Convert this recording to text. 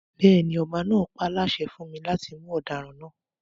Bẹ́ẹ̀ni, ọba náà páláṣẹ fún mi láti mú ọdaràn náà